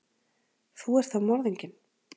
Þú ert þá morðinginn?